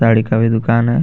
साड़ी का भी दुकान है.